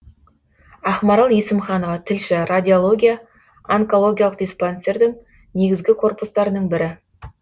ақмарал есімханова тілші радиология онкологиялық диспансердің негізгі корпустарының бірі